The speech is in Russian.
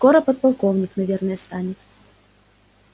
скоро подполковник наверное станет